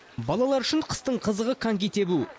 балалар үшін қыстың қызығы коньки тебу